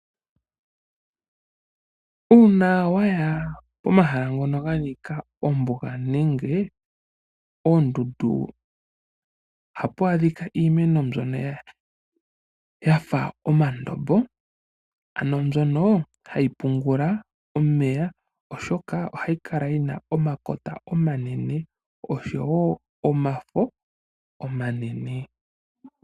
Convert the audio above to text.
Uuna waya pomahala ngono ganika ombuga nenge oondundu ohapu adhika iimeno mbyono yafa omandombo ano mbyono hai pungula omeya oshoka hayi kala yina omakota omanene oshowo omafo omanene.